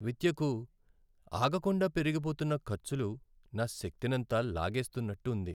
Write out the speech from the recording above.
విద్యకు ఆగకుండా పెరిగిపోతున్న ఖర్చులు నా శక్తినంతా లాగేస్తున్నట్టు ఉంది.